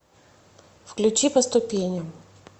включи по ступеням